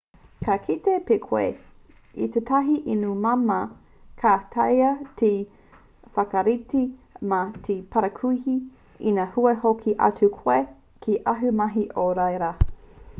ka kite pea koe i tētahi inu māmā ka taea te whakarite mā te parakuihi ina kua hoki atu koe ki āu mahi o ia rā